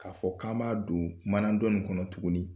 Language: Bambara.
K'a fɔ k'an b'a don manan dɔnnin kɔnɔ tuguni